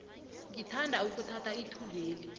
ngithanda ukuthatha ithubeli